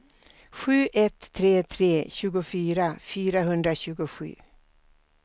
sju ett tre tre tjugofyra fyrahundratjugosju